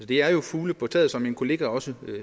det er jo fugle på taget som min kollega også